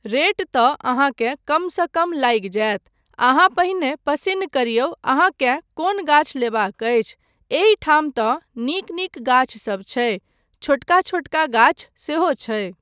Rate तँ अहाँकेँ कमसँ कम लागि जायत, अहाँ पहिने पसिन्न करियौ अहाँकेँ कोन गाछ लेबाक अछि, एहिठाम तँ नीक नीक गाछसब छै, छोटका छोटका गाछ सेहो छै।